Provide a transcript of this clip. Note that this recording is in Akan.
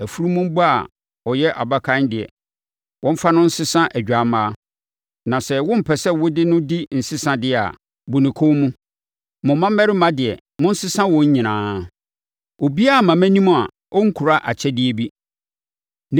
Afunumu ba a ɔyɛ abakan deɛ, wɔmfa no nsesa odwammaa. Na sɛ wompɛ sɛ wode no di nsesa deɛ a, bu ne kɔn mu. Mo mmammarima deɛ, monsesa wɔn nyinaa. “Obiara mma mʼanim a ɔnkura akyɛdeɛ bi.